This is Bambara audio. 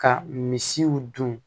Ka misiw dun